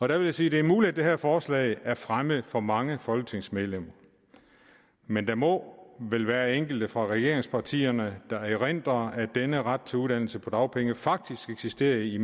jeg vil sige det er muligt at det her forslag er fremmed for mange folketingsmedlemmer men der må vel være enkelte fra regeringspartierne der erindrer at denne ret til uddannelse på dagpenge faktisk eksisterede i